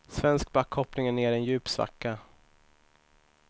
Svensk backhoppning är nere i en djup svacka.